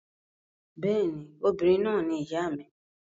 Bẹ́ẹ̀ ni, obìnrin náà ni ìyá mi.